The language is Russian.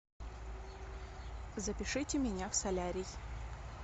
запишите меня в солярий